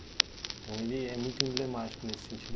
Então ele é muito emblemático nesse sentido.